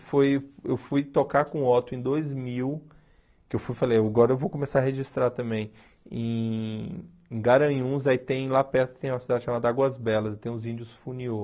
Foi eu fui tocar com o Otto em dois mil, que fui eu falei, agora eu vou começar a registrar também, em Garanhuns, aí tem lá perto, tem uma cidade chamada Águas Belas, tem uns índios funiô.